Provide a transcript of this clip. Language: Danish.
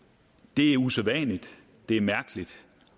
det er usædvanligt det er mærkeligt